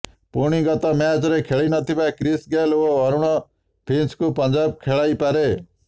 ପୁଣି ଗତ ମ୍ୟାଚରେ ଖେଳି ନଥିବା କ୍ରିସ ଗେଲ ଓ ଅରୁଣ ଫିଞ୍ଚଙ୍କୁ ପଞ୍ଜାବ ଖେଳାଇପାରେ